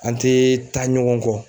An tɛ taa ɲɔgɔn kɔ.